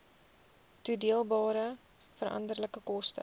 toedeelbare veranderlike koste